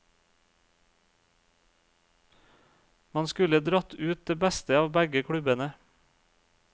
Man skulle dratt ut det beste av begge klubbene.